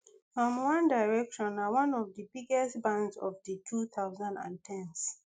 um one direction na one of di biggest bands of di two thousand and ten s